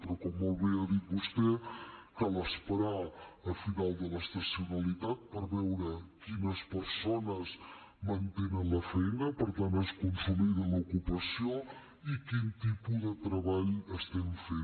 però com molt bé ha dit vostè cal esperar al final de l’estacionalitat per veure quines persones mantenen la feina per tant si es consolida l’ocupació i quin tipus de treball estem fent